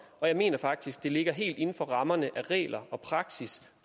og jeg mener faktisk at det ligger helt inden for rammerne af regler og praksis